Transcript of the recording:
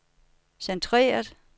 centreret